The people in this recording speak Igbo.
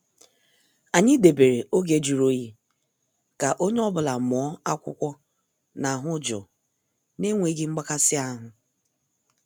Anyị debere oge jụrụ oyi ka onye ọ bụla mụọ akwụkwọ n' ahụ jụụ na enweghị mgbakasi ahụ.